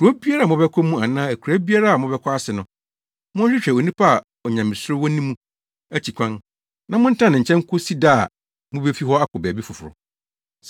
Kurow biara a mobɛkɔ mu anaa akuraa biara a mobɛkɔ ase no, monhwehwɛ onipa a onyamesuro wɔ ne mu akyi kwan na montena ne nkyɛn kosi da a mubefi hɔ akɔ baabi foforo.